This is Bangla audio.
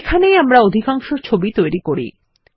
এখানেই আমরা অধিকাংশ ছবি তৈরি করি